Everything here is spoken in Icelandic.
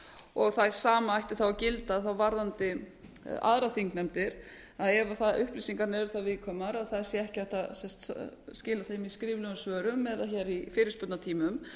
og það sama ætti þá að gilda varðandi aðrar þingnefndir að ef upplýsingarnar eru það viðkvæmar að það sé ekki hægt að skila þeim í skriflegum svörum eða hér í fyrirspurnatímum